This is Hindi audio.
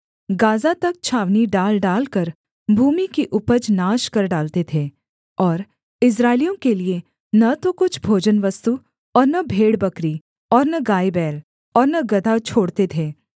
गाज़ा तक छावनी डाल डालकर भूमि की उपज नाश कर डालते थे और इस्राएलियों के लिये न तो कुछ भोजनवस्तु और न भेड़बकरी और न गायबैल और न गदहा छोड़ते थे